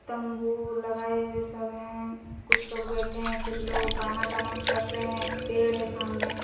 तम्बू लगाए हुए सब है कुछ लोग बैठे है कुछ लोग आना-जाना कर रहे है पेड़ है सामने--